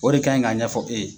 O de ka ɲi k'a ɲɛfɔ e ye.